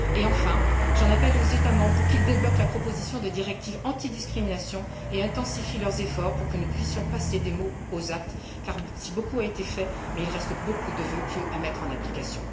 Enfin, j'en appelle aux États membres pour qu'ils débloquent la proposition de directive anti discrimination et intensifient leurs efforts pour que nous puissions passer des mots aux actes car, si beaucoup a été fait, il reste beaucoup de vœux pieux à mettre en application.